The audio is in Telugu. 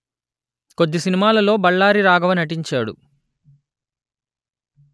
కొద్ది సినిమాలలో బళ్ళారి రాఘవ నటించాడు